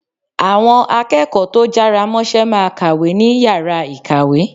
Àwọn akẹ́kọ̀ọ́ tó jára mọ́ṣẹ́ máa kàwé ní Yàrá ìkàwé.